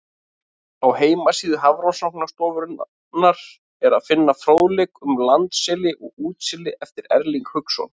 Á heimasíðu Hafrannsóknastofnunarinnar er að finna fróðleik um landseli og útseli eftir Erling Hauksson.